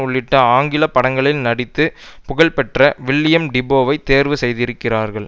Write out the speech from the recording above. உள்ளிட்ட ஆங்கில படங்களில் நடித்து புகழ்பெற்ற வில்லியம் டிபோவை தேர்வு செய்திருக்கிறார்கள்